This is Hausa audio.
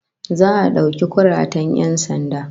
Za'a dauki kuratan 'yan sanda